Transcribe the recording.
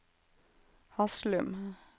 Haslum